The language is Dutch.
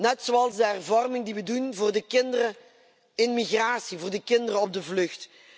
Net zoals de hervorming die we doorvoeren voor de kinderen in migratie, voor de kinderen op de vlucht.